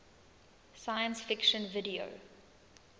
science fiction video